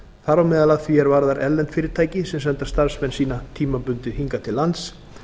þar á meðal að því er varðar erlend fyrirtæki sem senda starfsmenn sína tímabundið hingað til lands